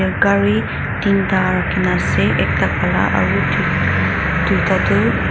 eh gari tinta rakhina ase ekta Kala aru dwita tu.